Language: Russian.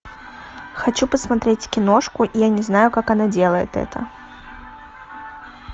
хочу посмотреть киношку я не знаю как она делает это